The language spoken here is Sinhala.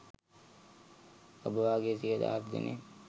ඔබ වගේ සිය දහස් දෙනෙක්